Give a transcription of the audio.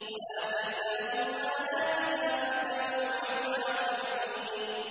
وَآتَيْنَاهُمْ آيَاتِنَا فَكَانُوا عَنْهَا مُعْرِضِينَ